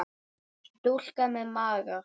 Stúlka með maga.